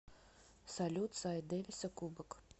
салют сайт дэвиса кубок